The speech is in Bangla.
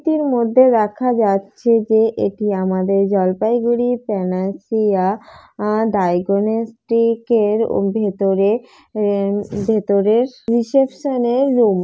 এটির মধ্যে রাখা যাচ্ছে যে এটি আমাদের জলপাইগুড়ির প্যানাশিয়া আহ ডায়াগনস্টিক এর ওভেতরে ভেতরের রিসেপশন এর রুম।